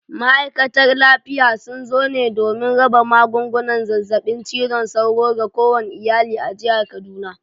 Ma’aikatar lafiya sun zo ne domin raba magungunan zazzabin cizon sauro ga kowane iyali a jihar kaduna.